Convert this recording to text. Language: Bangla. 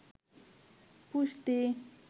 পুষ্টি